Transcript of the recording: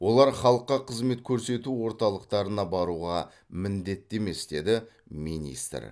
олар халыққа қызмет көрсету орталықтарына баруға міндетті емес деді министр